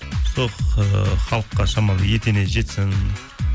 сол ыыы халыққа шамалы етене жетсін